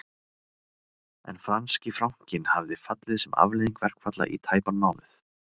En franski frankinn hafði fallið sem afleiðing verkfalla í tæpan mánuð